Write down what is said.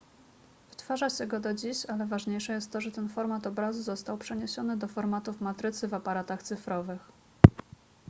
wytwarza się go do dziś ale ważniejsze jest to że ten format obrazu został przeniesiony do formatów matrycy w aparatach cyfrowych